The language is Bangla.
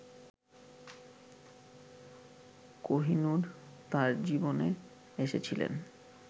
কোহিনূর তাঁর জীবনে এসেছিলেন